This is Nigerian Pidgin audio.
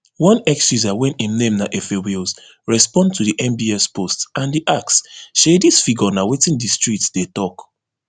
one x user wey im name na efewills respond to di nbs post and e ask shey dis figure na wetin di streets dey tok